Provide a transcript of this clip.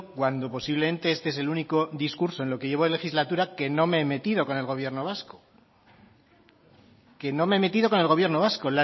cuando posiblemente este es el único discurso en lo que llevo de legislatura que no me he metido con el gobierno vasco que no me he metido con el gobierno vasco